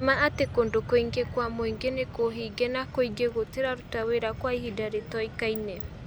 Nĩmaa atĩ kũndũ kũingĩ kwa mũingĩ nĩ kũhinge na kũngĩ gũtiraruta wĩra kwa ihinda rĩtoĩkaine.